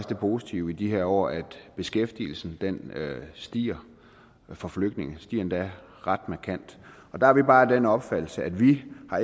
det positive i de her år at beskæftigelsen stiger for flygtninge den stiger endda ret markant og der har vi bare den opfattelse at vi